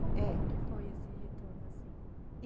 É. Como como que foi esse retorno, assim?